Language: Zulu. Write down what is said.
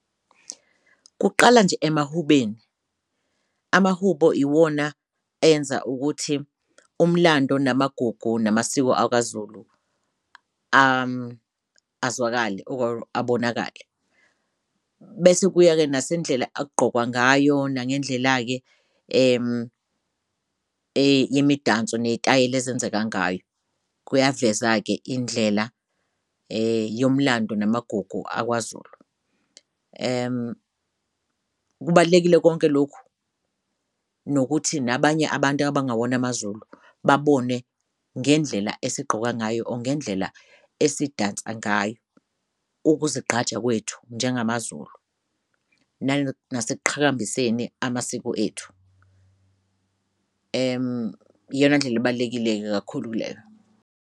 Kuqala nje emahubeni, amahubo iwona enza ukuthi umlando namagugu namasiko akwaZulu azwakale or abonakale. Bese kuya-ke nasendlela okugqokwa ngayo nangendlela-ke yemidanso ney'tayela ezenzeka ngayo kuyaveza ke indlela yomlando namagugu akwaZulu. Kubalulekile konke lokhu nokuthi nabanye abantu abangewona amaZulu babone ngendlela esigqoka ngayo or ngendlela esidansa ngayo, ukuzigqaja kwethu njengamaZulu nasekuqhakambiseni amasiko ethu. Iyona ndlela ebalulekile kakhulu leyo.